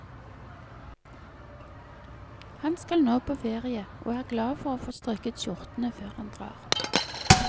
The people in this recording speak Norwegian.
Han skal nå på ferie, og er glad for å få strøket skjortene før han drar.